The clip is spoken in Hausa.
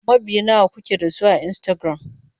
Mabiya nawa kuke da su a Instagram?